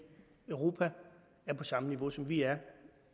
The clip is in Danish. europa er på samme niveau som vi er